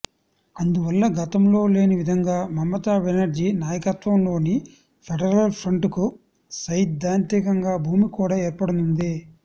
అందువల్ల గతంలో లేని విధంగా మమతా బెనర్జీ నాయకత్వంలోని ఫెడరల్ ఫ్రంట్కు సైద్ధాంతిక భూమిక కూడ ఏర్పడనుంది